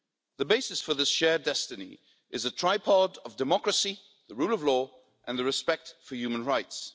The basis for the shared destiny is a tripod of democracy, the rule of law and the respect for human rights.